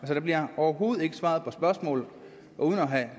der bliver overhovedet ikke svaret på spørgsmålet uden at have